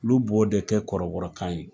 Olu b'o de kɛ kɔrɔbɔrɔ kan ye.